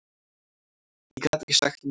Ég gat ekki sagt nei.